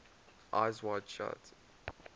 eyes wide shut